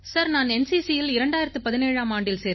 sir நான் NCCயில் 2017ஆம் ஆண்டில்